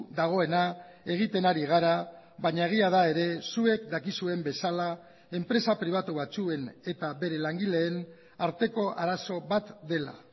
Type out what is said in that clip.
dagoena egiten ari gara baina egia da ere zuek dakizuen bezala enpresa pribatu batzuen eta bere langileen arteko arazo bat dela